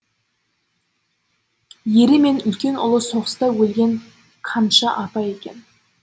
ері мен үлкен ұлы соғыста өлген канша апай екен